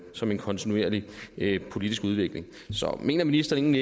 som en kontinuerlig politisk udvikling mener ministeren